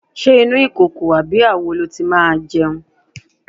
Ṣé inú ìkòkò tàbí àwo lo ti máa jẹun?